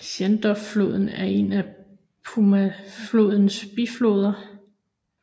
Shenandoahfloden er en af Potomacflodens bifloder